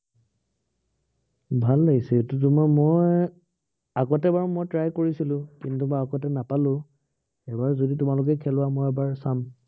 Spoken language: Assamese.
ভাল লাগিছে, এইতো তোমাৰ মই, আগতে এবাৰ মই try কৰিছিলো। কিন্তু মই আগতে নাপালো। এইবাৰ যদি তোমালোকে খেলোৱা মই এবাৰ চাম।